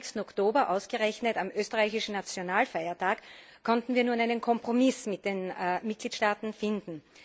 26. Oktober ausgerechnet am österreichischen Nationalfeiertag konnten wir nun einen Kompromiss mit den Mitgliedstaaten finden.